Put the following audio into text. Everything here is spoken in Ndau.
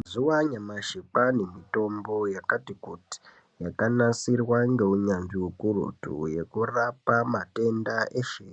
Mazuva anyamashi kwavane mutombo yakati kuti yakanasirwa ngenunyanzvi hukurutu ekurape matenda eshe